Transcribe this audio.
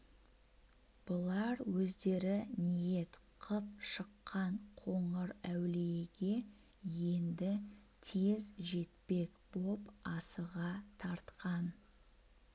бұлар өздері ниет қып шыққан қоңырәулиеге енді тез жетпек боп асыға тартқан